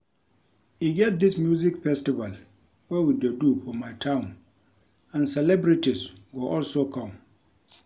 E get dis music festival wey we dey do for my town and celebrities go also come